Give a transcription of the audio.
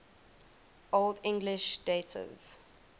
old english dative